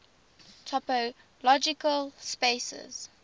topological spaces